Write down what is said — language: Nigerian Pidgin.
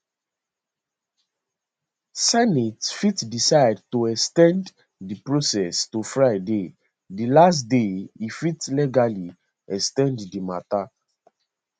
senate fit decide to ex ten d di process to friday di last day e fit legally ex ten d di matter